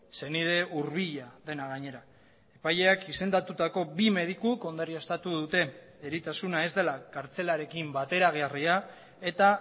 senide hurbila dena gainera epaileak izendatutako bi medikuk ondorioztatu dute eritasuna ez dela kartzelarekin bateragarria eta